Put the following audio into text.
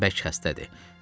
Anam bərk xəstədir.